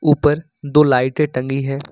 ऊपर दो लाइटें टंगी हैं।